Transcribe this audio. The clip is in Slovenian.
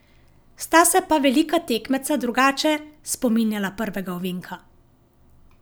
Sta se pa velika tekmeca drugače spominjala prvega ovinka.